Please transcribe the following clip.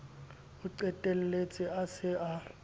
o qetelletse a se a